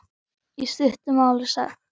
Í stuttu máli sagt.